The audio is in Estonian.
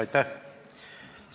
Aitäh!